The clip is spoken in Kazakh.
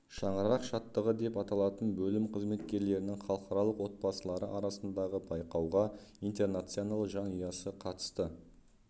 шаңырақ шаттығы деп аталатын бөлім қызметкерлерінің халықаралық отбасылары арасындағы байқауға интернационал жанұясы қатысты